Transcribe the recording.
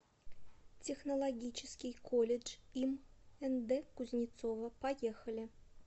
технологический колледж им нд кузнецова поехали